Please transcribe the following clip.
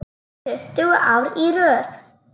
Tuttugu ár í röð.